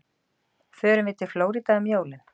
Förum við til Flórída um jólin?